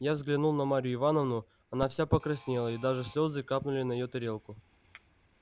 я взглянул на марью ивановну она вся покраснела и даже слёзы капнули на её тарелку